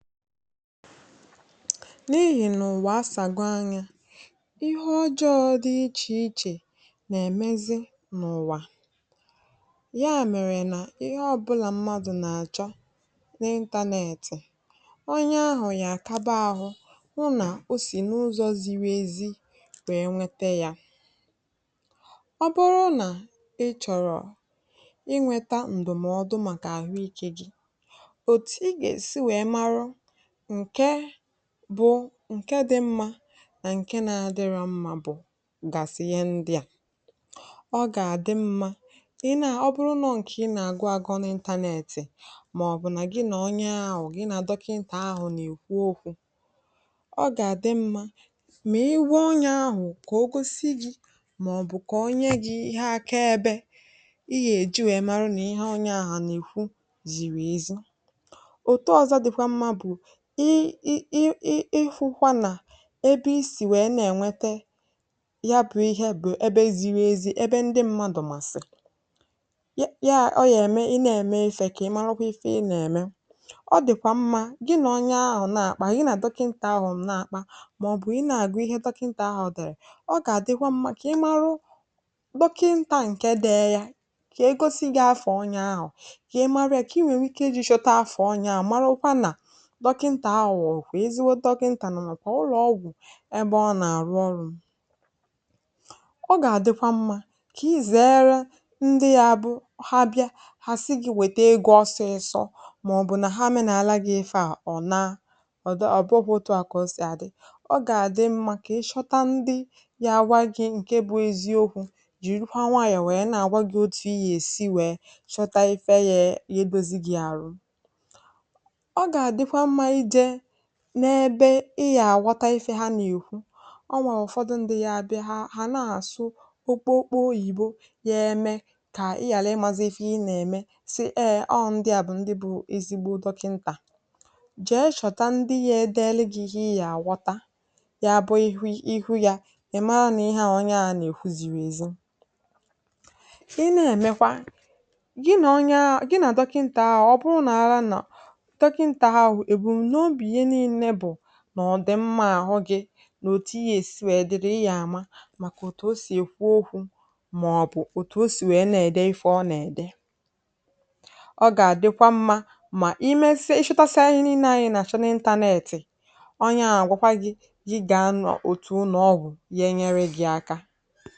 N’ihìnà ùwà asàgo anyā ihe ọjọọ dị ichè ichè nèmezi n’ùwà, ya mèrè nà ihọ ọ̀bụlà mmadụ̄ nàchọ nị internet, onye ahụ̀ gàkaba ahụ hụ nà o sì n’ụzọ̄ ziri ezi wèe nwete yā. Ọ buru nà ị chọ̀rọ̀ ịnwētā ǹdụ̀mọdụ màkà àhụikē gi ètù ị gèsi wèe mara ǹke bụ̄ ǹke dị mmā nà ǹke nādịrọ̄ mmā bụ̀ gàsị̀ ihe ndị à: Ọ gàdị mmā ọ bụrụ nọ ǹkè ị nàgụ agụ nà internet mọ̀bụ̀ nà gị nà onye ahụ̣̀̀ gị nà dọkịntà ahụ̀ nèkwu okwū, ọ gàdị mmā mị ị gwa onyē ahụ̀ kà o gosi gī mọ̀bụ̀ kò o nye gī ihe akaebē ị yèji wèe mara nì ihe onye ahụ̄ nèkwu zìrì ezi. Òto ọzọ dịkwa mmā bụ̀ ịịịhụ̄kwā nà ebi isì wèe ne-ènwete ya bụ̄ ihe bụ̀ ebe ziri ezi ebe ndị mmadụ̄ màsị̀ị̀ ya ọ yème ị ne-ème ifē kị marakwa ife ị nème. Ọ dị̀kwà mmā gị nà onye ahụ̀ na-àkpa, gị nà dọkịntà ahụ̀ na-àkpa mọ̀bụ̀ ị na-àgụ ihe dọkịntà ahụ̀ dèrè, ọ gàdịkwa mmā kị̀ ịmalụ dọkịntà ǹke dee ya kè egosi gī afà onyē ahụ̀ kị̀ ịmalu ya kị ịnwèe nwi ike ịjị̄ chọta afà onyē ahụ̀ marakwa nà dọkịntà anwụ̀ ọ̀ bụ̀ ezigbo dọkịntà nà nàkwà ụlọ̄ọgwụ̀ ebe ọ nàrụ ọrụ̄. Ọ nàdịkwa mmā kà ị zèere ndị gā bụ ha bịa hà sị gī wète egō ọsisọ mọ̀bụ̀ nà ha meenāla gị̄ ifaa ọ̀ naa. Ọ̀ bụrọ̄ otu a kà o sì àdị, ọ gàdị mmā kị ịchọta ndị gagwa gī ǹke bụ̄ eziokwū jìrikwa nwayọ̀ wèe na-àgwa gị̄ ètù iyèsi wèe chọta ife ye dozi gī àrụ. Ọ gàdịkwa mmā ijē n’ebe ị gàghọta ife ha nèkwu Ọ nwèrè ụ̀fọdụ ndị gabịa ha na-àsụ okpokpo oyìbo yeme kà ị ghālụ ịmàzi ife ị nème sị ee ọọ ndị à bụ̀ ndị bụ̄ ezigbo dọkịntà Jee chọ̀ta ndị yē-edeli gī ihe ị gàghọta ya bụ ịhụ yā ị̀ mara nà ihe a onye a nèkwu zìrì èzi Ị ne-èmekwa, gị nà onyee, gị nà dọkịntà ahụ̀ ọ bụ nọ̀ ọ nọ̀ dọkịntà ahụ̀ nè èbùm̀nobì ya niilē bụ̀ n’ọ̀dị̀ mmā ahụ gī nè ètù ị yèsi wèe dị ị yà ma màkà ètù o sì èkwu okwu mọ̀bụ̀ ètù o sì wèe ne-ède ife ọ nède, ọ gàdịkwa mmā mà i mesia ị chotasia ihe niilē ahụ̀ ị nàchọ nị internet onye ahụ̀ àgwakwa gī gị gàa n’òtù ụlọ̀ogwū genyere gị̄ aka.